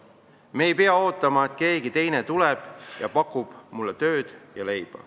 Me ei pea ootama, et keegi teine tuleb ja pakub mulle tööd ja leiba.